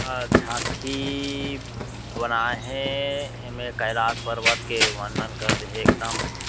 अ झांकी बनाये हे ऐमे कैलाश पर्वत के वर्णन करदे हे एकदम --